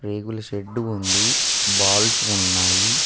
రేకుల షెడ్డు ఉంది బాల్స్ ఉన్నాయి.